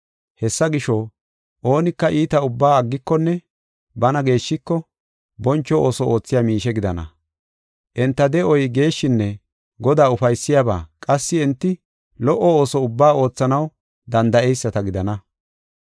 Hessa gisho, oonika iita ubbaa aggikonne bana geeshshiko, boncho ooso oothiya miishe gidana. Enta de7oy geeshshinne Godaa ufaysiyabaa, qassi enti lo77o ooso ubbaa oothanaw danda7eyisata gidana.